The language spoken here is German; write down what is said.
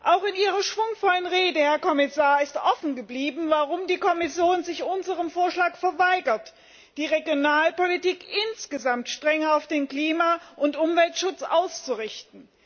Auch in Ihrer schwungvollen Rede, Herr Kommissar, ist offen geblieben, warum sich die Kommission unserem Vorschlag verweigert, die Regionalpolitik insgesamt strenger auf den Klima und Umweltschutz auszurichten.